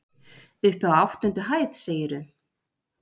Uppi á áttundu hæð, segirðu?